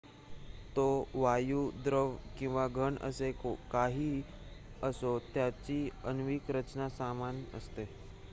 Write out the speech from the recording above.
तो वायू द्रव किंवा घन असे काहीही असो त्याची आण्विक रचना समान असते